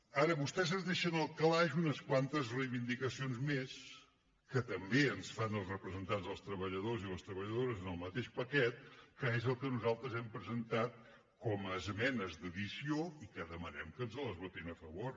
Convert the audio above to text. ara vostès es deixen en el calaix unes quantes reivindicacions més que també ens fan els representants dels treballadors i treballadores en el mateix paquet que és el que nosaltres hem presentat com a esmenes d’addició i que demanem que ens les votin a favor